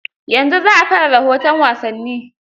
Yanzu za a fara rahoton wasanni.